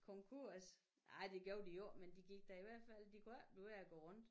Konkurs ej det gjorde de jo ikke men de gik da i hvert fald de kunne ikke blive ved at gå rundt